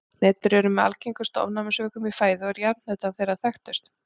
Hnetur eru með algengustu ofnæmisvökum í fæðu og er jarðhnetan þeirra þekktust.